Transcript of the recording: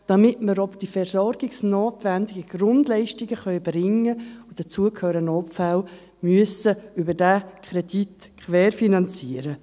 Damit wir auch die versorgungsnotwendigen Grundleistungen erbringen können – und dazu gehören Notfälle –, müssen wir sie über diesen Kredit querfinanzieren.